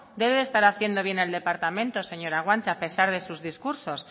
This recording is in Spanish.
debe de estar haciendo bien el departamento señora guanche a pesar de sus discursos